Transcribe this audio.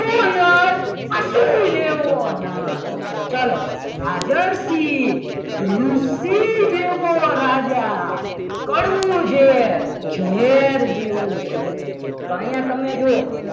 પશુ જેવો નર ચાલો ઝાઝરસી ઋષિ જેવો રાજા કડવું ઝેર ઝેર જેવું કડવું તો અહીંયા તમે જુઓ